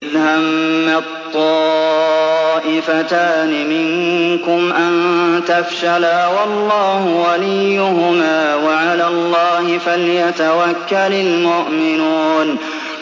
إِذْ هَمَّت طَّائِفَتَانِ مِنكُمْ أَن تَفْشَلَا وَاللَّهُ وَلِيُّهُمَا ۗ وَعَلَى اللَّهِ فَلْيَتَوَكَّلِ الْمُؤْمِنُونَ